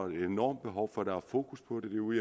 et enormt behov for der er fokus på det derude